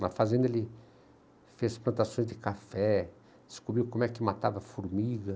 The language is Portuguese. Na fazenda ele fez plantações de café, descobriu como é que matava formiga.